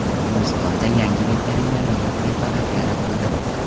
Gulistonda yangi veterinariya preparati yaratildi.